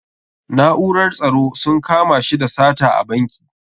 Na'urar tsaro sun kama shi da sata a banki.